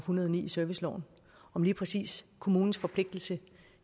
hundrede og ni i serviceloven om lige præcis kommunens forpligtelse